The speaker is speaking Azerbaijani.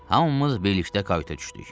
Hamımız birlikdə kayuta düşdük.